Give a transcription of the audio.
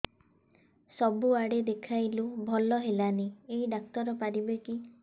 ସବୁଆଡେ ଦେଖେଇଲୁ ଭଲ ହେଲାନି ଏଇ ଡ଼ାକ୍ତର ପାରିବେ କି